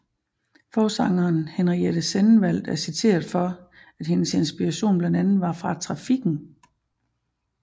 Forsangeren Henriette Sennenvaldt er citeret for at hendes inspiration blandt andet var fra trafikken